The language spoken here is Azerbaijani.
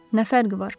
Nə fərqi var?